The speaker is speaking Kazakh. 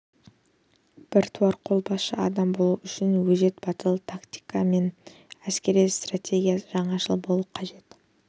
біртуар қолбасшы адам болу үшін өжет батыл тактика мен әскери стратегияда жаңашыл болу қажет